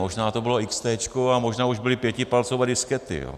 Možná to bylo XT a možná už byly pětipalcové diskety.